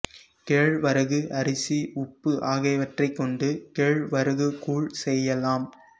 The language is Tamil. கேழ்வரகு அரிசி உப்பு ஆகியவற்றைக் கொண்டு கேழ்வரகு கூழ் செய்யலாம்